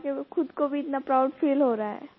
करा के खुद को भी इतना प्राउड फील हो रहा है